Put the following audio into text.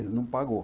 Ele não pagou.